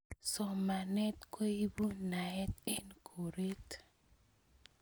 Somanet koipu naet eng koret